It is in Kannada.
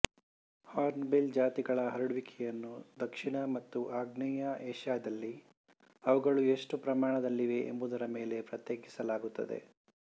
ಹಾರ್ನ್ ಬಿಲ್ ಜಾತಿಗಳ ಹರಡುವಿಕೆಯನ್ನು ದಕ್ಷಿಣ ಮತ್ತು ಆಗ್ನೇಯ ಏಷ್ಯಾದಲ್ಲಿ ಅವುಗಳು ಎಷ್ಟು ಪ್ರಮಾಣದಲ್ಲಿವೆ ಎಂಬುದರ ಮೇಲೆ ಪ್ರತ್ಯೇಕಿಸಲಾಗುತ್ತದೆ